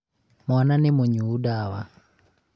mwana nĩ mũnyũũ ndawa?